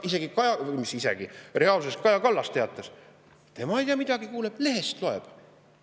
Isegi Kaja Kallas, või mis isegi, reaalsuses Kaja Kallas teatas, et tema ei tea midagi, ta lehest loeb.